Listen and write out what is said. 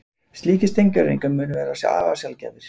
Slíkir steingervingar munu vera afar sjaldgæfir